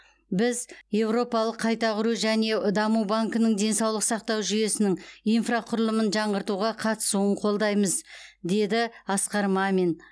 біз еуропалық қайта құру және даму банкінің денсаулық сақтау жүйесінің инфрақұрылымын жаңғыртуға қатысуын қолдаймыз деді асқар мамин